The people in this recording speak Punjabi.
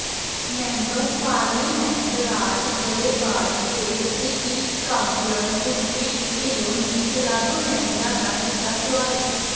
ਮੈਂਬਰ ਪਾਰਲੀਮੈਂਟ ਰਾਜ ਗਰੇਵਾਲ ਤੇ ਸਿਟੀ ਕਾਊਂਸਲਰ ਗੁਰਪ੍ਰੀਤ ਢਿੱਲੋਂ ਨੇ ਕਲੱਬ ਮੈਂਬਰਾਂ ਦਾ ਕੀਤਾ ਸਵਾਗਤ